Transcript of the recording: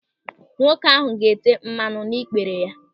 Nwoke ahụ ga-ete mmadụ n'ikpere ya.